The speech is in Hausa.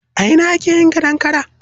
A ina ake yin gadon kara?